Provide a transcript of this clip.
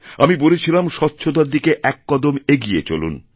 আমি বলেছিলাম স্বচ্ছতার দিকে এক কদম এগিয়ে চলুন